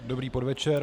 Dobrý podvečer.